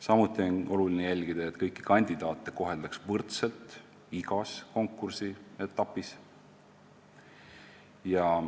Samuti on oluline jälgida, et kõiki kandidaate koheldaks võrdselt igas konkursi etapis.